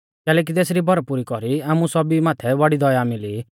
कैलैकि तेसरी भरपुरी कौरी आमु सौभी माथै बौड़ी दया मिली